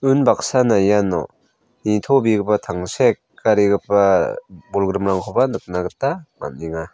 unbaksana iano nitobegipa tangsekarigipa bolgrimrangkoba nikna gita man·enga.